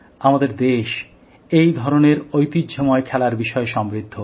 আমাদের দেশ এই ধরনের ঐতিহ্যময় খেলার বিষয়ে সমৃদ্ধ